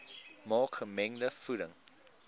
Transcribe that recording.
maak gemengde voeding